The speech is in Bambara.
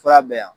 Fura bɛ yan